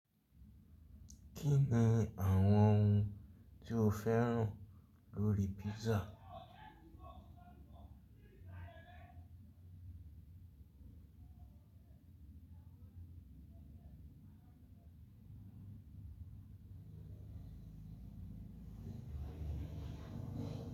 Kí ni àwọn ohun tí o fẹ́ràn lórí pizza?